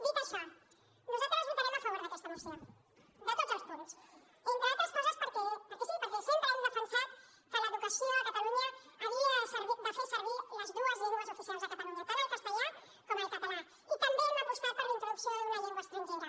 dit això nosaltres votarem a favor d’aquesta moció de tots els punts entre altres coses perquè sí perquè sempre hem defensat que l’educació a catalunya havia de fer servir les dues llengües oficials a catalunya tant el castellà com el català i també hem apostat per la introducció d’una llengua estrangera